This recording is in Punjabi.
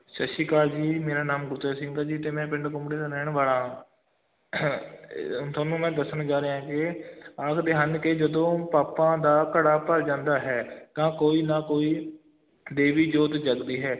ਸਤਿ ਸ੍ਰੀ ਅਕਾਲ ਜੀ ਮੇਰਾ ਨਾਮ ਗੁਰਤੇਜ ਸਿੰਘ ਹੈ ਜੀ ਤੇ ਮੈਂ ਪਿੰਡ ਕੁੰਬੜੇ ਦਾ ਰਹਿਣ ਵਾਲਾ ਹਾਂ ਅਹ ਤੁਹਾਨੂੰ ਮੈਂ ਦੱਸਣ ਜਾ ਰਿਹਾਂ ਕਿ ਆਖਦੇ ਹਨ ਕਿ ਜਦੋਂ ਪਾਪਾਂ ਦਾ ਘੜਾ ਭਰ ਜਾਂਦਾ ਹੈ ਤਾਂ ਕੋਈ ਨਾ ਕੋਈ ਦੇਵੀ ਜੋਤ ਜਗਦੀ ਹੈ।